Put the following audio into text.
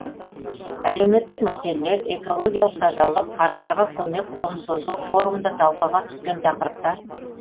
әлеуметтік мәселелер экологиялық тазалық қарттарға көмек қолын созу форумда талқыға түскен тақырыптар